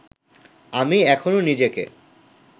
আমি এখনো নিজেকে